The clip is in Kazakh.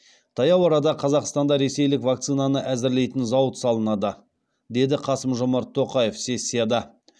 таяу арада қазақстанда ресейлік вакцинаны әзірлейтін зауыт салынады деді қасым жомарт тоқаев сессияда